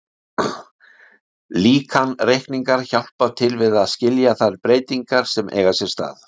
Líkanreikningar hjálpa til við að skilja þær breytingar sem eiga sér stað.